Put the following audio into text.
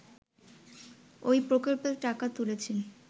ওই প্রকল্পের টাকা তুলছেন